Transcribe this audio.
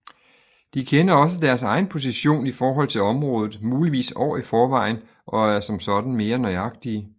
De kender også deres egen position i forhold til området muligvis år i forvejen og er som sådan mere nøjagtige